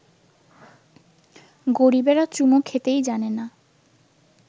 গরিবেরা চুমো খেতেই জানে না